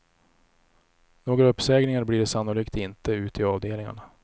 Några uppsägningar blir det sannolikt inte ute i avdelningarna.